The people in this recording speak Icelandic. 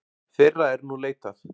Þeirra er nú leitað.